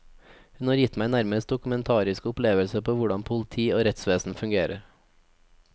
Hun har gitt meg nærmest dokumentariske opplevelser av hvordan politi og rettsvesen fungerer.